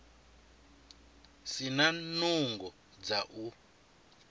si na nungo dza u